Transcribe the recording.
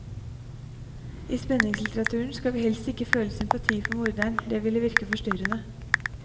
I spenningslitteraturen skal vi helst ikke føle sympati for morderen, det ville virke forstyrrende.